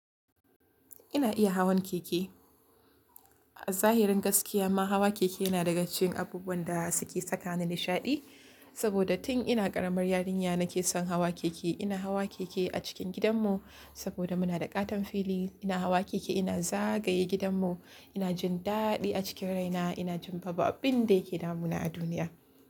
Ina iya hawan keke. A zahirin gaskiya ma hawa keke yana daga cikin abubuwan da suke sakani nishaɗi. Saboda tun ina ƙaramar yarinya nake son hawa keke. Ina hawa keke a cikin gidanmu saboda muna da ƙaton fili. Ina hawa keke ina zagaye gidanmu. Ina jin daɗi a cikin raina. Ina jin babu abin da yake damuna a duniya.